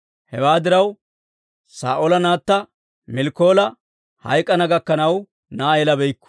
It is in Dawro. Hewaa diraw, Saa'oola naatta Miikaala hayk'k'ana gakkanaw, na'aa yelabeykku.